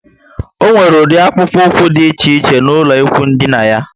O nwere udi akpukpu úkwú dị iche iche n'ulo ikwụ dina yá